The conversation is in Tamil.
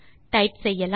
டைப் செய்யலாம்